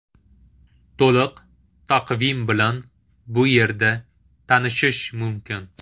To‘liq taqvim bilan bu yerda tanishish mumkin.